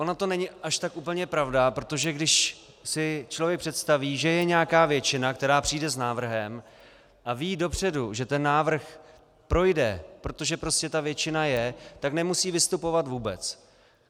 Ona to není až tak úplně pravda, protože když si člověk představí, že je nějaká většina, která přijde s návrhem a ví dopředu, že ten návrh projde, protože prostě ta většina je, tak nemusí vystupovat vůbec.